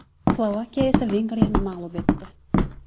Slovakiya esa Vengriyani mag‘lub etdi.